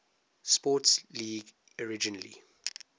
sports league originally